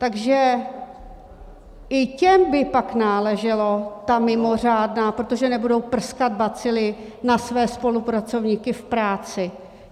Takže i těm by pak náležela ta mimořádná, protože nebudou prskat bacily na své spolupracovníky v práci.